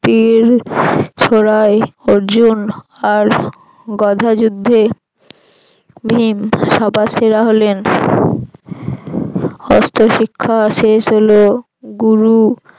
তীর ছোড়ায় অর্জুন আর গদা যুদ্ধে ভীম সবার সেরা হলেন অস্ত্র শিক্ষা শেষ হল গুরু